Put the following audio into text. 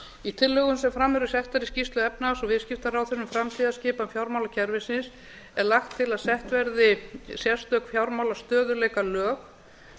í tillögum sem fram eru settar í skýrslu efnahags og viðskiptaráðherra um framtíðarskipan fjármálakerfisins er lagt til að sett verði sérstök fjármálastöðugleikalög sem